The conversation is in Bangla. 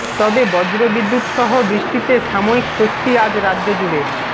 তবে বজ্রবিদ্যুৎ সহ বৃষ্টিতে সাময়িক স্বস্তি আজ রাজ্য জুড়ে